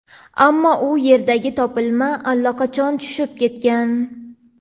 ammo u yerdagi topilma allaqachon tushib ketgan.